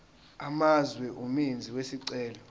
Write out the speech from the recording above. amazwe umenzi wesicelo